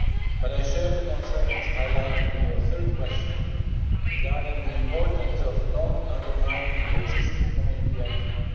But I share the concerns highlighted in your third question regarding the importance of not undermining the existing Community acquis